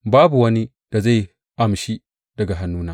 Babu wani da zai amshi daga hannuna.